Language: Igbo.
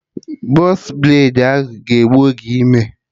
Bọx braidi ahụ ga egbu oge ime